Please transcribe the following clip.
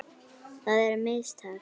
Það eru mistök.